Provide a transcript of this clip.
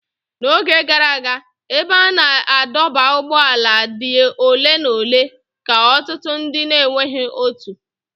N'oge gara aga, ebe a na-adọba ụgbọala dị ole na ole ka ọtụtụ ndị na-enweghị otu.